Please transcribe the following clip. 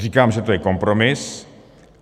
Říkám, že to je kompromis.